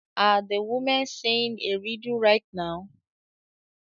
Are the women saying a riddle right now?